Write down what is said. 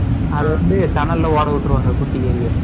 அதுவந்து டனல்ல ஓட விட்ருவாங்க குட்டி எலிய.